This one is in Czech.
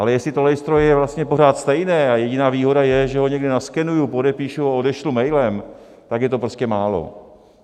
Ale jestli to lejstro je vlastně pořád stejné a jediná výhoda je, že ho někde naskenuji, podepíšu a odešlu mailem, tak je to prostě málo.